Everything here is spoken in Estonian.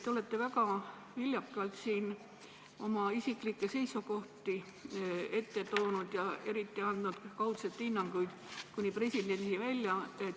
Te olete väga viljakalt siin oma isiklikke seisukohti meie ette toonud ja andnud kaudseid hinnanguid kuni presidendini välja.